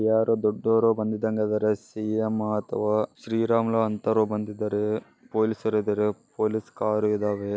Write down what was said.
ಯಾರು ದೊಡ್ಡಅವರು ಬಂದಿದಂಗ ಅದ್ದಾರೆ ಸಿ.ಯುಂ ಅಥವಾ ಶ್ರೀ ರಮಲ ಅನ್ತರು ಬಂದಿದ್ದಾರೆ ಪೋಲಿಸ್ ಅವರು ಇದಾರೆ ಪೋಲಿಸ್ ಕಾರ್ ಇದಾವೆ.